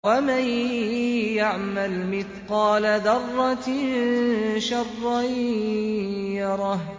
وَمَن يَعْمَلْ مِثْقَالَ ذَرَّةٍ شَرًّا يَرَهُ